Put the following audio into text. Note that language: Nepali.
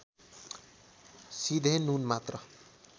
सिधे नुन मात्र